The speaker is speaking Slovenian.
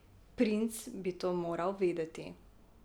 Princ bi to moral vedeti.